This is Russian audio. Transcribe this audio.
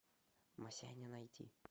масяня найти